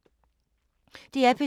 DR P2